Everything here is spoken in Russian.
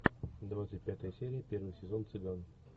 двадцать пятая серия первый сезон цыган